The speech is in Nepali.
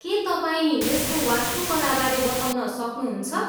के तपाईँ यसको वास्तुकलाबारे बताउन सक्नुहुन्छ?